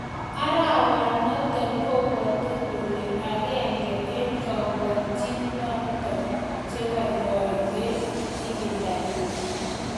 "Arwanoton kobwote kole agenge en kobokyinichoton chegoigoi en ibindanyin.